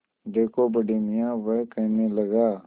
देखो बड़े मियाँ वह कहने लगा